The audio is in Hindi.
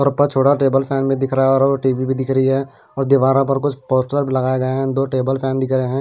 और ऊपर छोटा टेबल फैन में दिख रहा है और और टी_वी भी दिख रही है और दीवारों पर कुछ पोस्टर लगाए गए हैं दो टेबल फैन दिख रहे हैं।